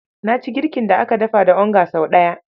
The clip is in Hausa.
Na ci girkin da aka dafa da onga sau ɗaya.